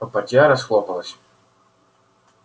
попадья расхлопалась